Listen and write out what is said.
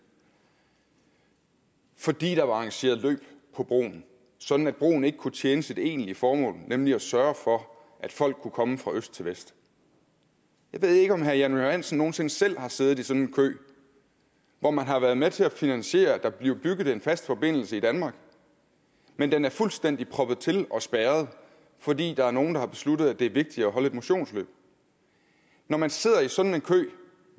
fordi der var arrangeret løb på broen sådan at broen ikke kunnet tjene sit egentlige formål nemlig at sørge for at folk kunne komme fra øst til vest jeg ved ikke om herre jan johansen nogen sinde selv har siddet i sådan en kø hvor man har været med til at finansiere at der blev bygget en fast forbindelse i danmark men den er fuldstændig proppet til og spærret fordi der er nogle der har besluttet at det er vigtigt at holde et motionsløb når man sidder i sådan en kø